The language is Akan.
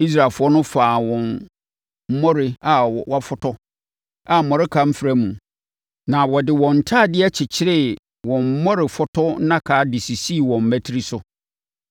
Israelfoɔ no faa wɔn mmɔre a wɔafɔtɔ a mmɔreka mfra mu, na wɔde wɔn ntadeɛ kyekyeree wɔn mmɔrefɔtɔ nnaka de sisii wɔn mmati so.